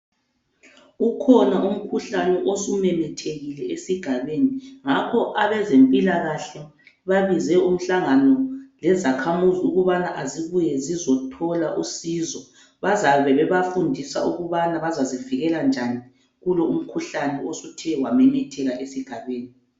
Ukhona umkhuhlane osumemethekile esigabeni. Ngakho abezempilakahle babize umhlangano lezakhamuzi ukubana azibuye zizothola usizo. Bazabe bebafundisa ukubana bazazibikela njani kulo umkhuhlane osuthe wamemetheka esigabeni.